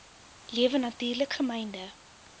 lewe natuurlik gemynde